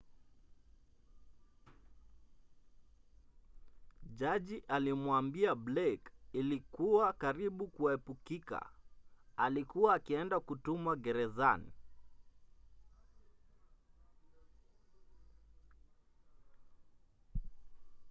jaji alimwambia blake ilikuwa karibu kuepukika alikuwa akienda kutumwa gerezan